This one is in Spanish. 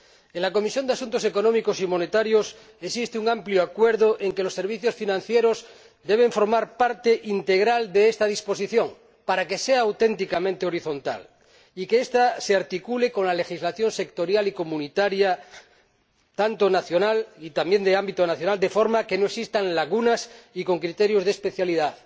En la Comisión de Asuntos Económicos y Monetarios existe un amplio acuerdo en cuanto que los servicios financieros deben formar parte integral de esta disposición para que sea auténticamente horizontal y que ésta se articule con la legislación sectorial y comunitaria, también de ámbito nacional, de forma que no existan lagunas, y con criterios de especialidad.